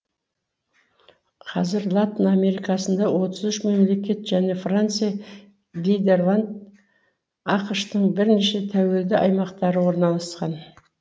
қазір латын америкасында мемлекет және франция нидерланд ақш тың бірнеше тәуелді аймақтары орналасқан